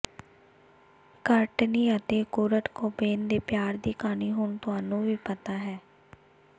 Courtenay ਅਤੇ Kurt Cobain ਦੇ ਪਿਆਰ ਦੀ ਕਹਾਣੀ ਹੁਣ ਤੁਹਾਨੂੰ ਵੀ ਪਤਾ ਹੈ